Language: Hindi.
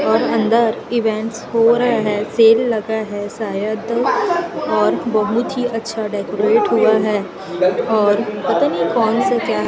और अंदर इवेंट्स हो रहा है सेल लगा है शायद और बहुत ही अच्छा डेकोरेट हुआ है और पता नहीं कौन सा क्या है।